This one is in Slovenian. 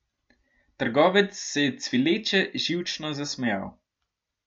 Trgovec se je cvileče, živčno zasmejal.